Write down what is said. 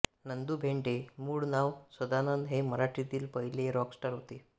नंदू भेंडे मूळ नाव सदानंद हे मराठीतील पहिले रॉकस्टार होते